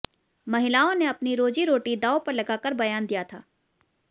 महिलाओं ने अपनी रोजी रोटी दांव पर लगाकर बयान दिया था